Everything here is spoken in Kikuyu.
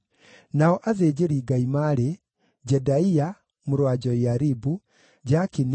Nao athĩnjĩri-Ngai maarĩ: Jedaia; mũrũ wa Joiaribu; Jakini;